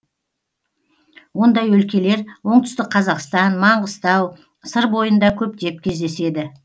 ондай өлкелер оңтүстік қазақстан маңғыстау сыр бойында көптеп кездеседі